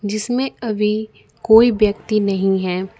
जिसमें अभी कोई व्यक्ति नहीं है।